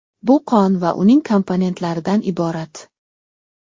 Bu qon va uning komponentlaridan iborat.